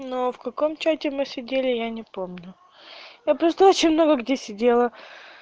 ну в каком чате мы сидели я не помню я просто очень много где сидела